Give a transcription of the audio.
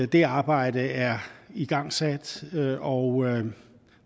det arbejde er igangsat og